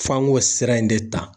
F'an k'o sira in de ta.